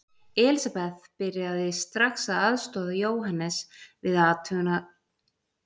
Elisabeth byrjaði strax að aðstoða Jóhannes við athuganirnar og gera þá útreikninga sem voru nauðsynlegir.